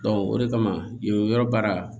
o de kama yen yɔrɔ baara